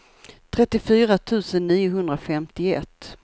trettiofyra tusen niohundrafemtioett